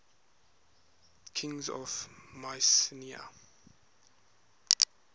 kings of mycenae